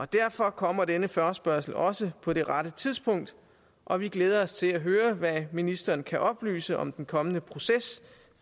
derfor kommer denne forespørgsel også på det rette tidspunkt og vi glæder os til at høre hvad ministeren kan oplyse om den kommende proces